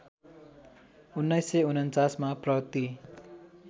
१९४९ मा प्रति